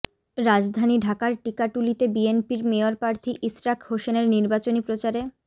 রাজধানী ঢাকার টিকাটুলিতে বিএনপির মেয়রপ্রার্থী ইশরাক হোসেনের নির্বাচনী প্রচারে